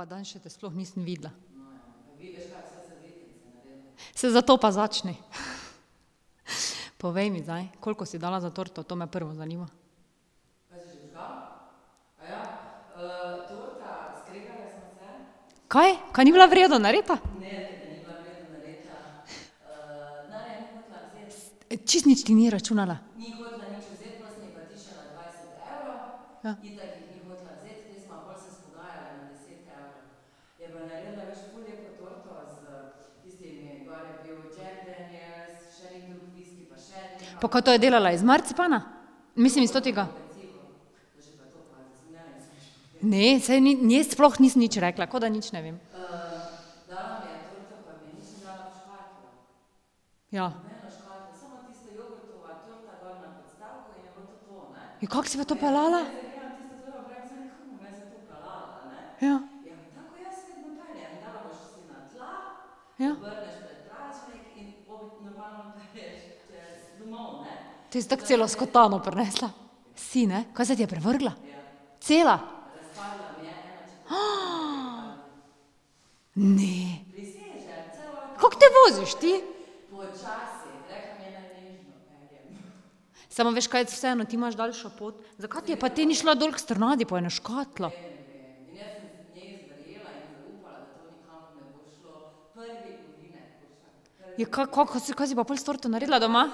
Pa danes še te sploh nisem videla. Saj zato pa začni. Povej mi zdaj, koliko si dala za torto, to me prvo zanima. Kaj? Ka ni bila v redu narejena? Čisto nič ti ni računala? Pa kaj to je delala iz marcipana? Mislim iz totega ... Ne, saj njej sploh nisem nič rekla, ko da nič ne vem. Ja. Ja, kako si pa to peljala? Ja. Ja. Te si tako celo skotano prinesla. Si, ne? Kaj se ti je prevrnila? Cela? Ne. Kako te voziš ti? Samo veš kaj, vseeno, ti imaš daljšo pot. Zakaj ti je pa te ni šla dol k Strnadu po eno škatlo? Ja, ka, ko, ka, ka si pa pol s torto naredila doma?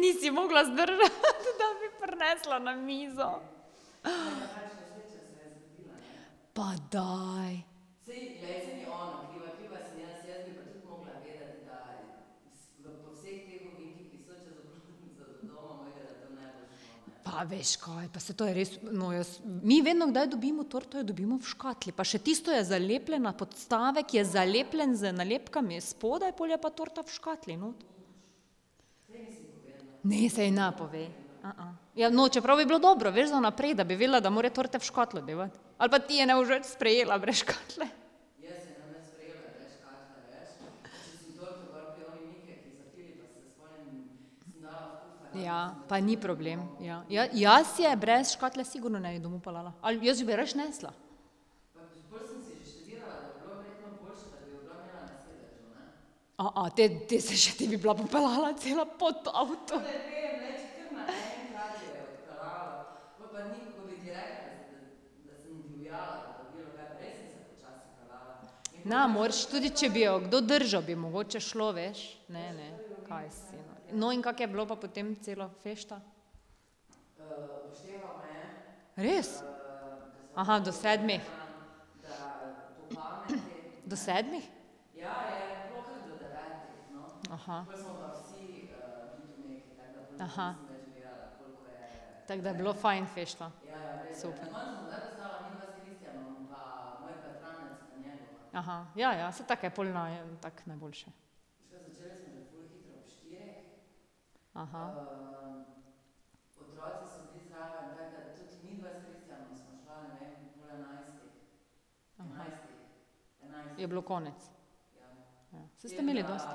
Nisi mogla zdržati, da bi prinesla na mizo. Pa daj. Pa veš kaj, pa saj to je res, no, jaz, mi vedno kdaj dobimo torto, jo dobimo v škatli, pa še tisto je zalepljena, podstavek je zalepljen z nalepkami spodaj, pol je pa torta v škatli not. Ne, saj ji ne povej. Ja, no, čeprav bi bilo dobro, veš, za naprej, da bi vedela, da mora torte v škatlo devati. Ali pa ti ne boš več sprejela brez škatle. Ja, pa ni problem, ja, jaz je brez škatle sigurno ne bi domov peljala, ali jaz bi jo rajši nesla. te, te se še ti bi bila popeljala cela pod avto. Ne moreš, tudi če bi jo kdo držal, bi mogoče šlo, veš. Ne, ne, kaj si nor. No, in kako je bilo pa potem celo fešta? Res? do sedmih. Do sedmih? Tako da je bilo fajn fešta. Super. ja, ja, saj tako je pol tako najboljše. Je bilo konec? Saj ste imeli dosti ...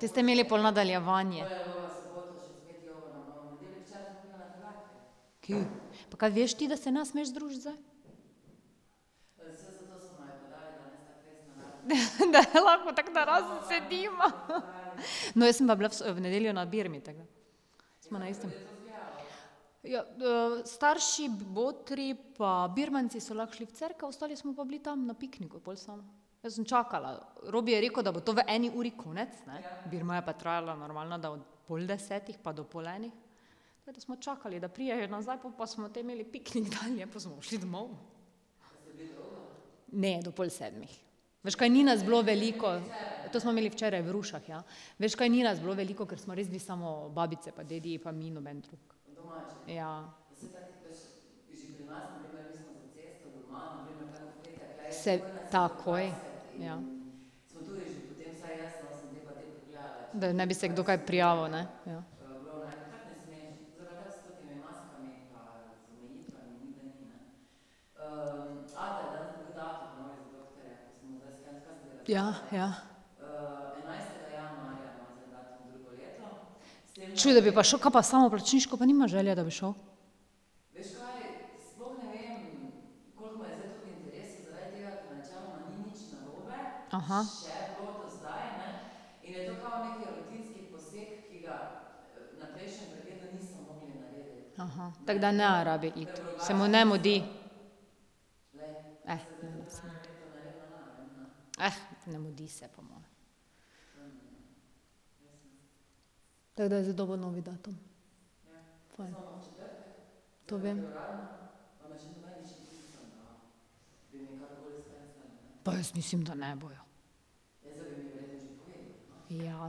Te ste imeli pol nadaljevanje. Ki. Pa kaj veš ti, da se ne smeš družiti zdaj? da lahko tako narazen sediva, No, jaz sem pa bila v v nedeljo na birmi, tako da sva na istem. Ja, starši, botri pa birmanci so lahko šli v cerkev, ostali smo pa bili tam na pikniku pol samo. Jaz sem čakala, Robi je rekel, da bo to v eni uri konec, ne. Birma je pa trajala normalno da od pol desetih pa do pol enih. Tako da smo čakali, da pridejo nazaj, po pa smo te imeli piknik dalje, pol smo pa šli domov. Ne, do pol sedmih. Veš kaj, ni nas bilo veliko ... To smo imeli včeraj v Rušah, ja. Veš kaj, ni nas bilo veliko, ker smo res bili samo babice pa dediji pa mi, noben drug. Ja. takoj, ja. Da ne bi se kdo kaj prijavil, ne? Ja. Ja ja. Čuj, da bi pa šel, kaj pa samoplačniško pa nima želje, da bi šel? tako da ne rabi iti. Se mu ne mudi. ne mudi se. Tako da je zdaj dobil novi datum. Fajn. To vem. Pa jaz mislim, da ne bojo. Ja,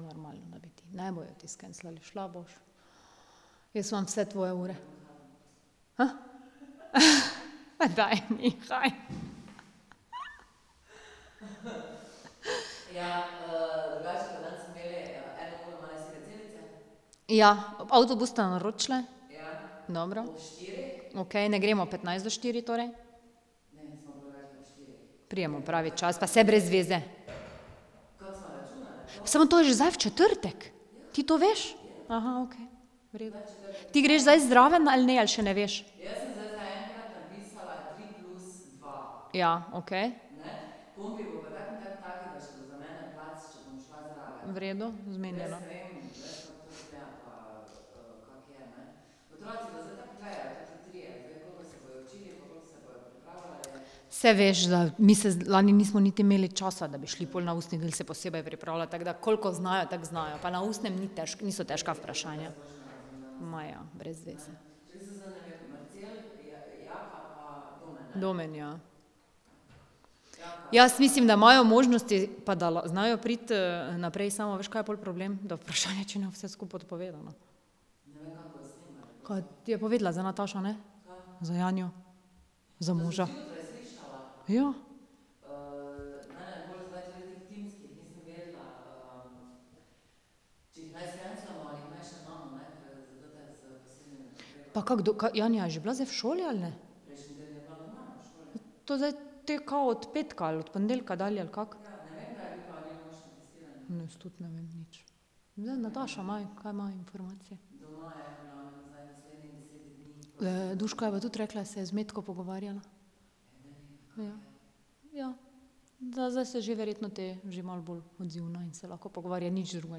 normalno, da bi ti, ne bojo ti skenslali, šla boš. Jaz imam vse tvoje ure. pa daj nehaj Ja, avtobus sta naročili? Dobro. Okej, ne gremo petnajst do štirih? Pridemo pravi čas, pa saj brez veze. Samo to je že zdaj v četrtek. Ti to veš? okej. Ti greš zdaj zraven ali ne ali še ne veš? Ja, okej. V redu, zmenjeno. Saj veš, da mi se lani nismo niti imeli časa, da bi šli pol na ustni del se posebej pripravljati, tako da koliko znajo, tako znajo, pa na ustnem ni niso težka vprašanja. Ma ja, brez veze. Domen, ja. Jaz mislim, da imajo možnosti pa da znajo priti naprej, samo veš, kaj je pol problem, da vprašanje, če ne bo vse skupaj odpovedano. Kaj ti je povedala za Natašo, ne? Za Janjo. Ja. Pa kako ka Janja je že bila zdaj v šoli ali ne? To zdaj te kao od petka ali od ponedeljka dalje, ali kako. Jaz tudi ne vem nič. Zdaj Nataša ima, kaj ima informacije. Duška je pa tudi rekla, da se je z Metko pogovarjala. Ja. Ja. Da zdaj se že verjetno te že malo bolj odzivna in se lahko pogovarja, nič drugega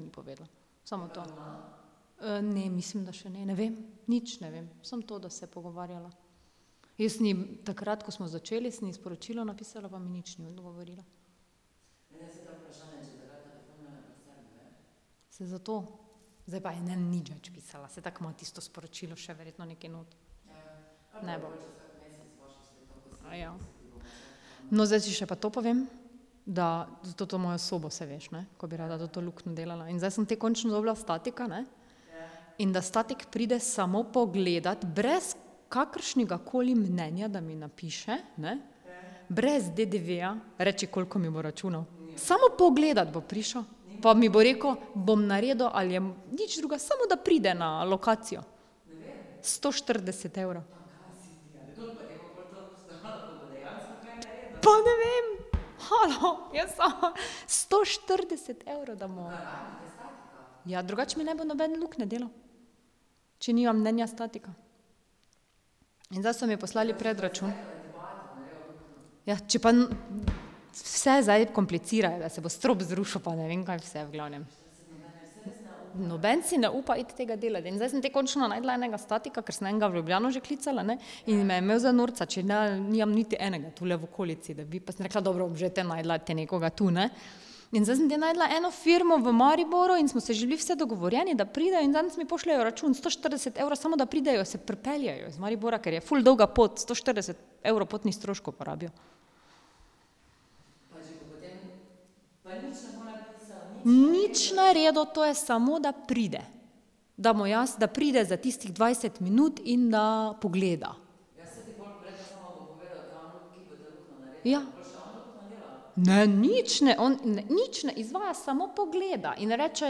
ni povedala. Samo to. ne, mislim, da še ne, ne vem. Nič ne vem, samo to, da se je pogovarjala. Jaz sem ji takrat, ko smo začeli, sem ji sporočilo napisala, pa mi nič ni odgovorila. Saj zato. Zdaj pa je ne bom nič več pisala, saj tako ima tisto sporočilo še verjetno nekje not. Ne bom. No, zdaj še ti pa to povem. Da za toto mojo sobo, saj veš, ne, ko bi rada to luknjo delala in zdaj sem te končno dobila statika, ne, in da statik pride samo pogledat brez kakršnegakoli mnenja, da mi napiše, ne, brez DDV-ja, reči, koliko mi bo računal. Samo pogledat bo prišel, pa mi bo rekel: "Bom naredil ali Nič drugega, samo da pride na lokacijo. Sto štirideset evrov. Pa ne vem, halo, jaz sama ... Sto štirideset evrov, da mu ... Ja, drugače mi ne bo noben luknje delal, če nimam mnenja statika. In zdaj so mi poslali predračun. Ja, če pa vse zdaj komplicirajo, da se bo strop zrušil, pa ne vem, kaj se v glavnem. Noben si ne upa iti tega delat in zdaj sem te končno našla enega statika, ker sem enega v Ljubljano že klicala, ne, in me je imel za norca, če ne nimam niti enega tule v okolici, da bi, pa sem rekla: "Dobro, bom že te našla te nekoga tu, ne." In zdaj sem te našla eno firmo v Mariboru in smo se že bili vse dogovorjeni, da pridejo in danes mi pošljejo račun sto štirideset evrov, samo da pridejo, se pripeljejo iz Maribora, ker je ful dolga pot, sto štirideset evrov potnih stroškov porabijo. Nič naredil, to je samo, da pride. Da mu jaz, da pride za tistih dvajset minut in da pogleda. Ja. Ne, nič, ne, on ne, nič ne izvaja, samo pogleda in reče: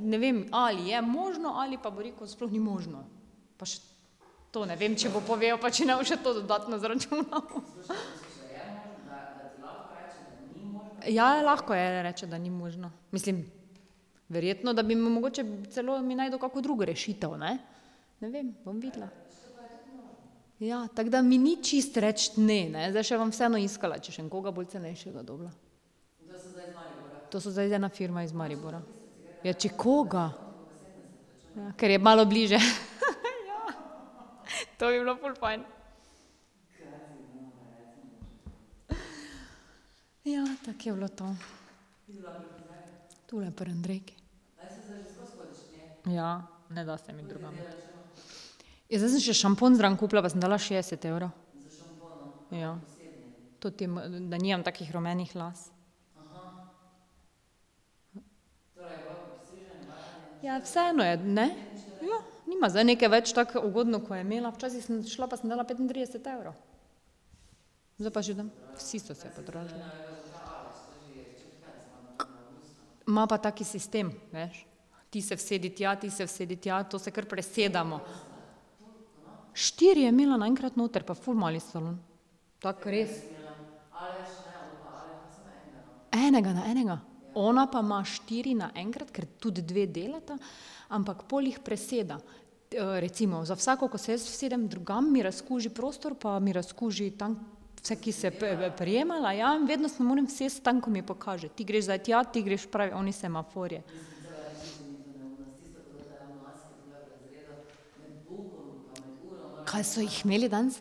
"Ne vem, ali je možno," ali pa bo rekel: "Sploh ni možno." Pa še to ne vem, če bo povedal pa če ne bo še to dodatno zaračunal, Ja, lahko reče, da ni možno, mislim, verjetno, da bi mi mogoče celo mi našel kako drugo rešitev, ne, ne vem, bom videla. Ja, tako da mi ni čisto reči ne, ne, zdaj še bom vseeno iskala, če še bom koga bolj cenejšega dobila. To so zdaj ena firma iz Maribora, ja. Ja, če koga? Ja, kar je malo bližje, ja, to bi bilo ful fajn. Ja, tako je bilo to. Tule pri Andrejki. Ja, ne da se mi drugam. Ja, zdaj sem še šampon zraven kupila pa sem dala šestdeset evrov. Ja. Toti da nimam takih rumenih las. Ja, vseeno je, ne, ja, nima zdaj nekaj več tako ugodno, ko je imela včasih, sem šla pa sem dala petintrideset evrov. Ima pa tak sistem, veš, ti se usedi tja, ti se usedi tja, to se kar presedamo. Štiri je imela naenkrat notri pa ful mali salon. Tako res. Enega na enega? Ona pa ima štiri naenkrat, ker tudi dve delata, ampak pol jih preseda. recimo za vsako, ko se jaz usedem drugam, mi razkuži prostor pa mi razkuži tam vse, ki se prijemala, ja, in vedno se moram usesti tam, ko mi pokaže. Ti greš zdaj tja, ti greš, prav oni semafor je. Kaj so jih imeli danes?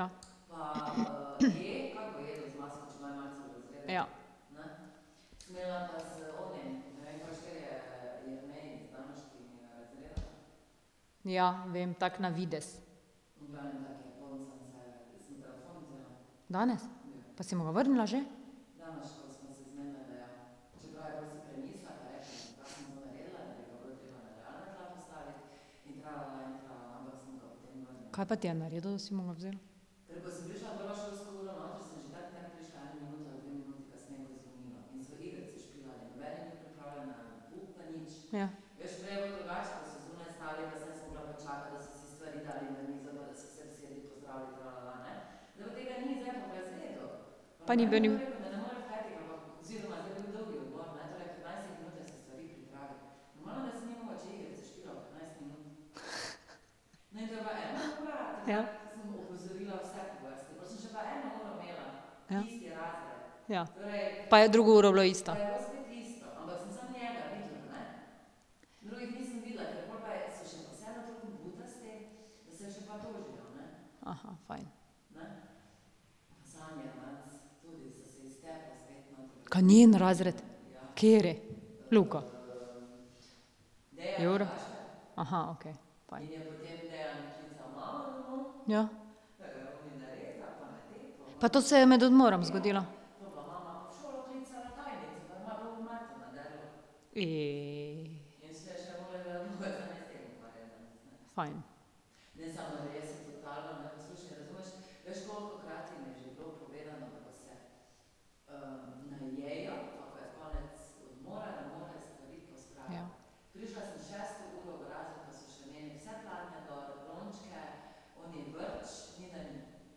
okej. Ja. Ja. Ja, vem, tako na videz. Danes? Pa si mu ga vrnila že? Ka pa ti je naredil, da si mu ga vzela? Ja. Pa ni bil ... Ja. Ja. Ja. Pa je drugo uro bilo isto. fajn. Kaj njen razred? Kateri? Luka? okej. Ja. Pa to se je med odmorom zgodilo? Fajn. Ja.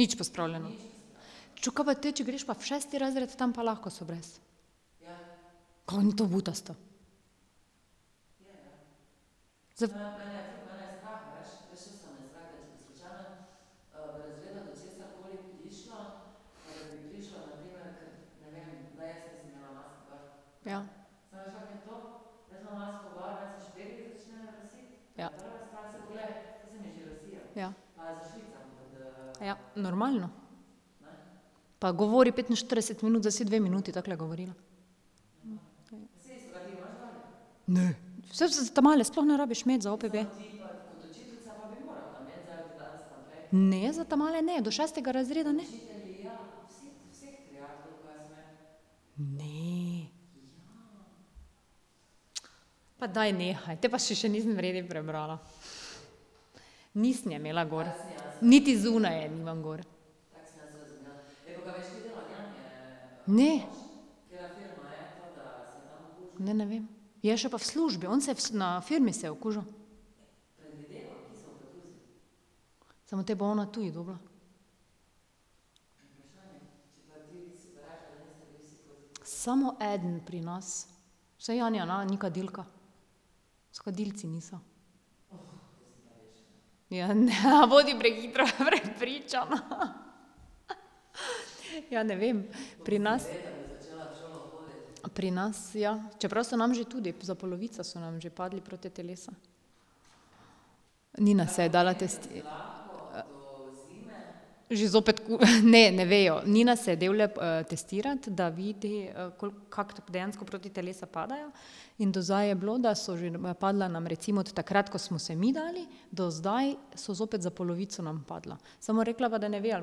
Nič pospravljeno? Čuj, ka pa te če greš pa v šesti razred, tam pa lahko so brez? Ka ni to butasto? ... Ja. Ja. Ja. Ja, normalno. Pa govori petinštirideset minut, zdaj si dve minuti takole govorila. Ne. Saj za ta male sploh ne rabiš imeti za OPB. Ne, za ta male ne, do šestega razreda ne. Ne. pa daj nehaj, potem pa še še nisem v redu prebrala. Nisem je imela gor. Niti zunaj je nimam gor. Ne. Ne, ne vem. Je še pa v službi, on se je v na firmi se je okužil. Samo te bo ona tudi dobila. Samo eden pri nas. Saj Janja ne ni kadilka. S kadilci niso. Ja, ne bodi prehitro prepričana Ja ne vem, pri nas ... Pri nas ja, čeprav so nam že tudi za polovico so nam že padla protitelesa. Nina se je dala Že zopet ne, ne vejo, Nina se devlje testirati, da vidi koliko, kako dejansko protitelesa padajo, in do zdaj je bilo, da so že padla nam recimo od takrat, ko smo se mi dali do zdaj, so zopet za polovico nam padla. Samo rekla pa, da ne ve, ali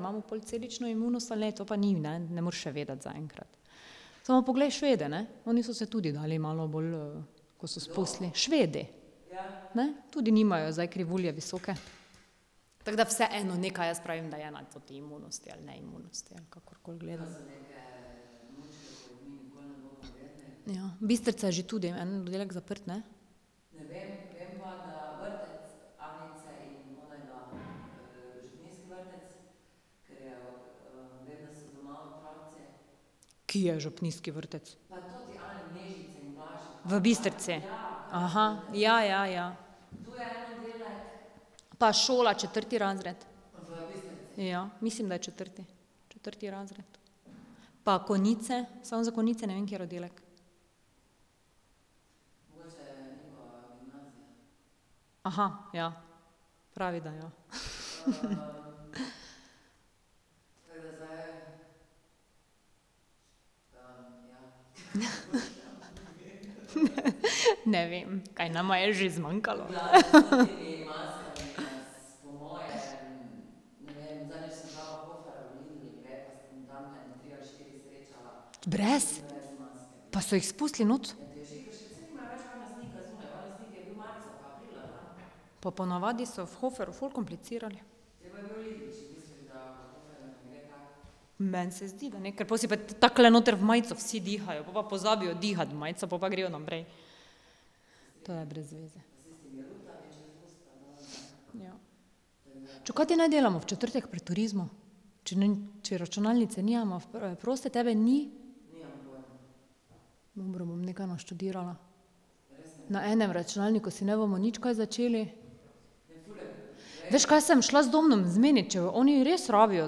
imamo pol celično imunost ali ne, to pa ni, ne, ne moraš še vedeti zaenkrat. Samo poglej Švede, ne, oni so se tudi dali malo bolj ko so spustili ... Švedi. Ne, tudi nimajo zdaj krivulje visoke. Tako da vseeno nekaj jaz pravim, da je na toti imunosti ali neimunosti, ali kakorkoli gledamo. Ja, Bistrcia je že tudi, en oddelek zaprt, ne. Ki je župnijski vrtec? V Bistrci? ja, ja, ja. Pa šola, četrti razred. Ja, mislim, da je četrti. Četrti razred. Pa Konjice, samo za Konjice ne vem, kateri oddelek. ja. Pravi, da ja, Ne vem, kaj nama je že zmanjkalo? Brez? Pa so jih spustili not? Pa ponavadi so v Hoferju ful komplicirali. Meni se zdi, da ne, ker pol si pa takole noter v majico vsi dihajo, po pa pozabijo dihati v majico, po pa grejo naprej. To je brez veze. Čakaj, kaj te naj delamo v četrtek pri turizmu? Če ... Če računalnice nimamo f proste, tebe ni. Dobro, bom nekaj naštudirala. Na enem računalniku si ne bomo nič kaj začeli. Veš, kaj se bom šla z Domnom zmenit, če oni res rabijo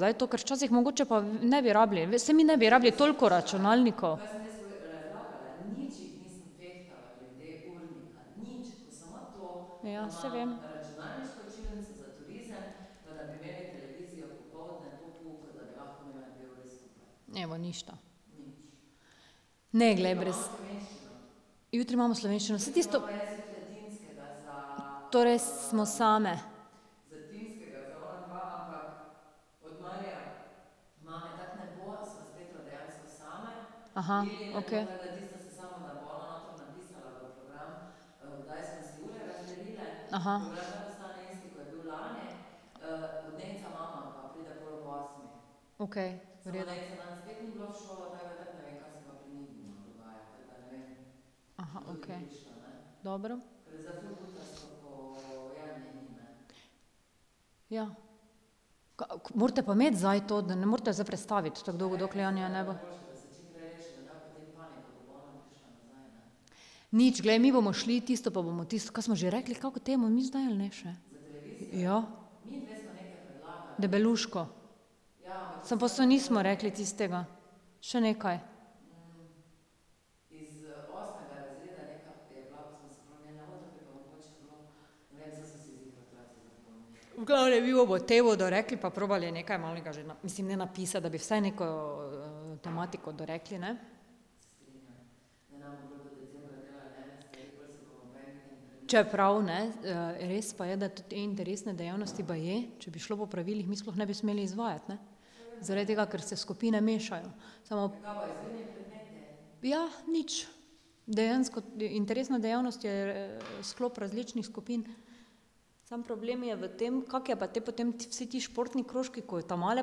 zdaj to, ker včasih mogoče pa ne bi rabili, veš, saj mi ne bi rabili toliko računalnikov. Ja, saj vem. Evo, ništa. Ne glej, Jutri imamo slovenščino, saj tisto ... Torej smo same? okej. Okej, v redu. Dobro. Ja. morate pa imeti zdaj to, da ne morete zdaj prestaviti tako dolgo, njega ne bo? Nič, glej, mi bomo šli tisto pa bomo tisto, kaj smo že rekli, kako temo mi zdaj ali ne še? Ja. Debeluško. Samo pol so, nismo rekli tistega. Še nekaj. V glavnem, mi bomo temo dorekli pa probali nekaj malega že mislim, ne napisati, da bi vsaj neko tematiko dorekli, ne. Čeprav ne res pa je, da tudi interesne dejavnosti, baje, če bi šlo po pravilih, mi sploh ne bi smeli izvajati, ne. Zaradi tega, ker se skupine mešajo. Ja, nič. Dejansko interesna dejavnost je sklop različnih skupin. Samo problem je v tem, kako je pa te potem vsi ti športni krožki, ko ta male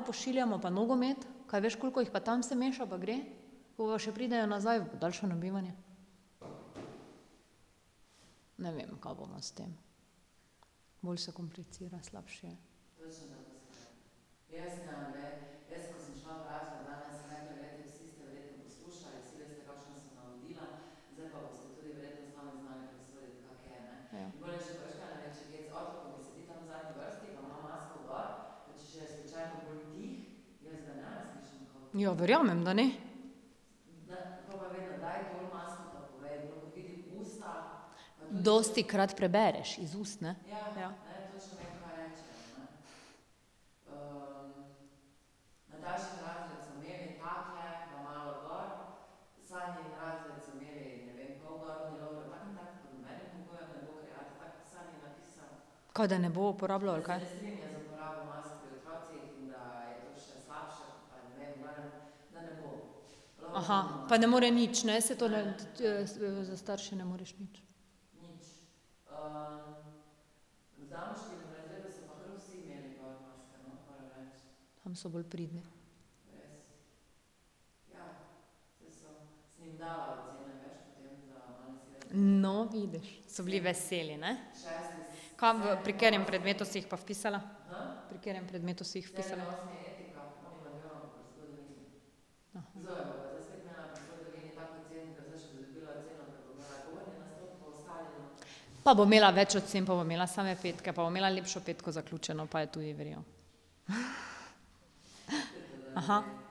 pošiljamo pa nogomet? Kaj veš, koliko jih pa tam se meša pa gre? Pol pa še pridejo nazaj v podaljšano bivanje. Ne vem, ka bomo s tem. Bolj se komplicira, slabše je. Ja, verjamem, da ne. Dostikrat prebereš iz ust, ne. Ja. Kaj da ne bo uporabljal, ali ka? Tam so bolj pridni. No, vidiš. So bili veseli, ne? Kam v, pri katerem predmetu si jih pa vpisala? Pri katerem predmetu si jih vpisala? Pa bo imela več ocen, pa bo imela same petke pa bo imela lepšo petko zaključeno pa je tudi v redu.